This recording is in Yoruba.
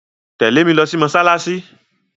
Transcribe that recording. Tẹ̀lé mi lo sí mósálásí